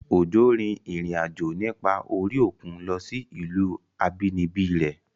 Ọ̀jọ́ rin ìrìn àjò nípa orí òkun lọ sí ìlú àbínibí rẹ̀